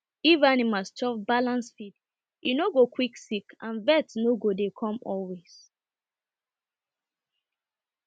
if animal chop balnced feed e no no go quick sick and vet no go dey come always